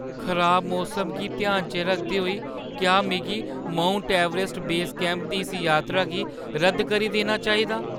खराब मौसम गी ध्याना च रखदे होई, क्या में माउंट ऐवरेस्ट बेस कैंप दी इस यात्रा गी रद्द करी देना चाहिदा?